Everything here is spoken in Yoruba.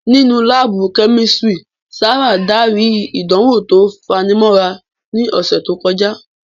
Nínú láàbù Kẹ́mísírì, Sárà darí ìdánwò tó fanimọ́ra ní ọ̀sẹ̀ tó kọjá